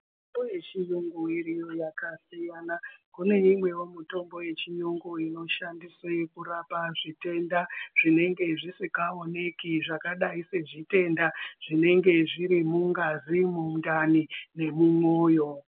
...mbo yechiyungu iriyo yakasiyana. Kune imwewo mutombo yechiyungu inoshandiswe kurapa zvitenda zvinenge zvisikaoneki zvakadai sezvitenda zvinenge zvirimungazi, mudani nemumwoyo.